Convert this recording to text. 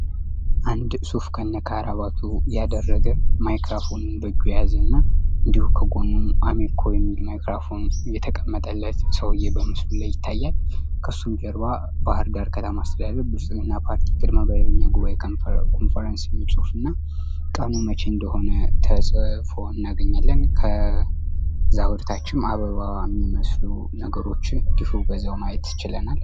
አንድ ሱፍ ከነከረባቱ ያደረገ ማይክራፎን በእጁ የያዘ እና በጎን አሚኮ የሚል ማይክራፎን የተቀመጠለት ሰውዬ ምስሉ ላይ ይታያል ፤ ከሱ ጀርባ ባህርዳር ከተማ የብልግና ፓርቲ መደበኛ ጉባኤ ኮንፈረንስ የሚል ጽሑፍና ቀኑ መቼ እንደሆነ ተጽፎ እናገኛለን። ከዛ ወደታችም አበባ የሚመስሉ ነገሮችን ማየት ችለናል።